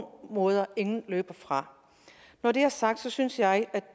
måde løber fra når det er sagt synes jeg